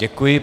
Děkuji.